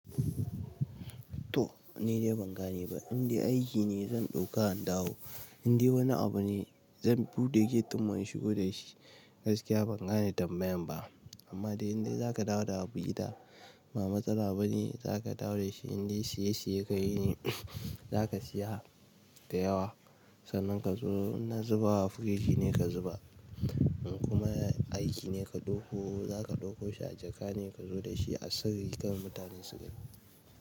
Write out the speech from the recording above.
To, ni dai ban gane ba, inde aiki ne zan ɗauka in dawo, inde wani abu ne zan buɗe gate din mu in shigo da shi. Gaskiya ban gane tambayan ba, amma dai inda za ka dawo da abu gida, ba matsala bane, za ka dawo da shi, inde siya-siya kai ne, za ka siya da yawa. Sannan ka zo inna zubawa a firiji ne ka zuba kuma aiki ne ka ɗauko, za ka ɗauko shi a jaka ne ka zo da shi a sirri kar mutane su gani.